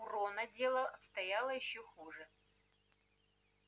у рона дело обстояло ещё хуже